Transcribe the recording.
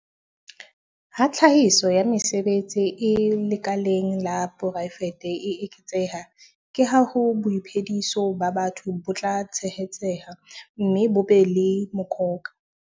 Ha tlhahiso ya mesebetsi e lekaleng la poraefete e eketseha, ke ha boiphediso ba batho bo tla tshehetseha mme bo be le mokoka.